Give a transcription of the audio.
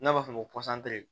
N'a b'a f'ɔ ma ko